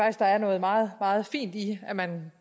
at der er noget meget meget fint i at man